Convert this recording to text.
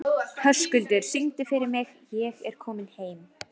Höskuldur, syngdu fyrir mig „Ég er kominn heim“.